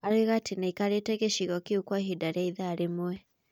Aroiga atĩ nĩakarĩte gĩcigo kĩu kwa ihinda rĩa ithaa rĩmwe.